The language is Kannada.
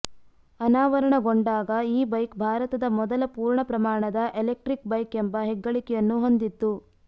ಅನಾವರಣಗೊಂಡಾಗ ಈ ಬೈಕ್ ಭಾರತದ ಮೊದಲ ಪೂರ್ಣ ಪ್ರಮಾಣದ ಎಲೆಕ್ಟ್ರಿಕ್ ಬೈಕ್ ಎಂಬ ಹೆಗ್ಗಳಿಕೆಯನ್ನು ಹೊಂದಿತ್ತು